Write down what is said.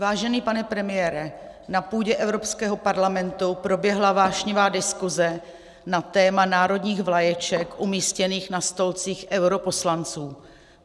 Vážený pane premiére, na půdě Evropského parlamentu proběhla vášnivá diskuze na téma národních vlaječek umístěných na stolcích europoslanců.